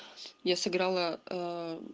я сыграла